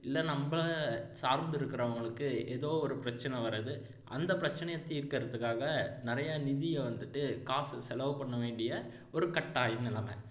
இல்லை நம்மளை சார்ந்து இருக்கிறவங்களுக்கு எதோ ஒரு பிரச்சனை வர்றது அந்த பிரச்சினையை தீர்க்கிறதுக்காக நிறைய நிதியை வந்துட்டு காசு செலவு பண்ண வேண்டிய ஒரு கட்டாய நிலைமை